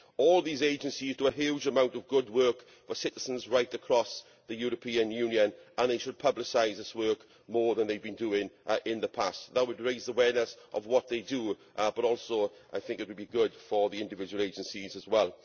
All these agencies do a huge amount of good work for citizens right across the European Union, and they should publicise this work more than they have been doing in the past. That would raise awareness of what they do, but I also think it would be good for the individual agencies as well.